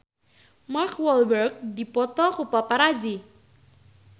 Mark Walberg dipoto ku paparazi